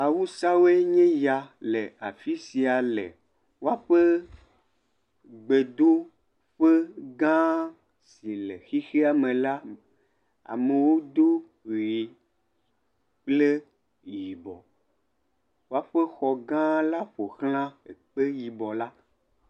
Awusaawoe nye ya le afi sia le woaƒe gbedoƒegã si le xexeame la me. amewo do ʋee kple yibɔ. Woaƒe xɔgããla ƒo ʋlã ekpe yibɔla.